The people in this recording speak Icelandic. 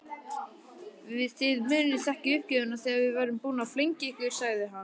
Þið munið þekkja uppgjöfina þegar við verðum búnir að flengja ykkur sagði hann.